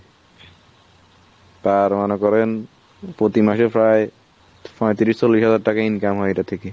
তার মনে করেন প্রতি মাসে প্রায় পঁয়ত্রিশ চল্লিশ হাজার টাকা income হয় এটা থেকে।